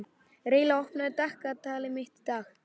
Reyla, opnaðu dagatalið mitt.